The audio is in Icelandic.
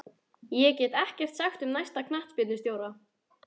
Ég get ekkert sagt um næsta knattspyrnustjóra.